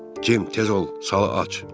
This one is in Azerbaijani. Cim, tez ol, sala aç.